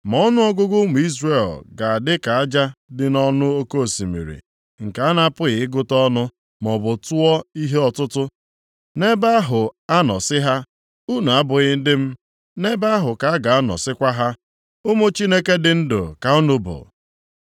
“Ma ọnụọgụgụ ụmụ Izrel ga-adị ka aja dị nʼọnụ oke osimiri nke a na-apụghị ịgụta ọnụ maọbụ tụọ nʼihe ọtụtụ. Nʼebe ahụ a nọ sị ha, ‘Unu abụghị ndị m,’ nʼebe ahụ ka a ga-anọ sịkwa ha, ‘Ụmụ Chineke dị ndụ ka unu bụ.’